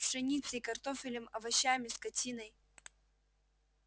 пшеницей картофелем овощами скотиной